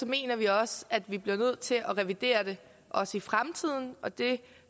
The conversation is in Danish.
mener vi også at vi bliver nødt til at revidere det også i fremtiden og det